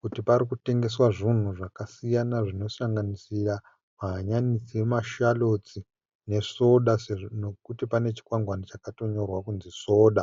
kuti pari kutengeswa zvinhu zvakasiyana zvinosanganisira mahanyanisi emasharotsi nesoda nokuti pane chikwangwani chakatonyorwa kunzi soda.